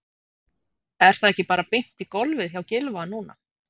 Er það ekki bara beint í golfið hjá Gylfa núna?